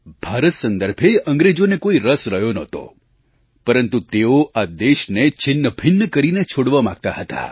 ભારત સંદર્ભે અંગ્રેજોને કોઈ રસ રહ્યો નહોતો પરંતુ તેઓ આ દેશને છિન્નભિન્ન કરીને છોડવા માગતા હતા